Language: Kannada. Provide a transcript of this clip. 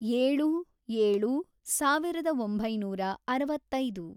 ಏಳು, ಏಳು, ಸಾವಿರದ ಒಂಬೈನೂರ ಅರವತ್ತೈದು